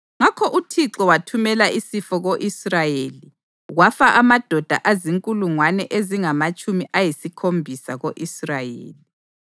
Ngakho uThixo wathumela isifo ko-Israyeli, kwafa amadoda azinkulungwane ezingamatshumi ayisikhombisa ko-Israyeli.